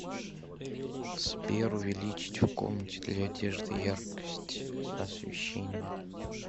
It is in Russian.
сбер увеличить в комнате для одежды яркость освещения